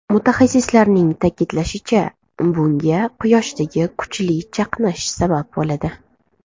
Mutaxassislarning ta’kidlashicha, bunga Quyoshdagi kuchli chaqnash sabab bo‘ladi.